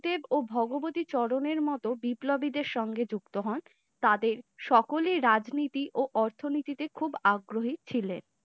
দেব ও ভগবতী চরণের মতো বিপ্লবীদের সঙ্গে যুক্ত হন তাদের সকলের রাজনীতি ও অর্থনীতি তে খুব আগ্রহী ছিলেন।